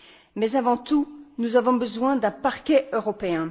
Mais avant tout, nous avons besoin d'un parquet européen.